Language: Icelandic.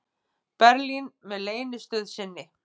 Berlín með leynistöð sinni.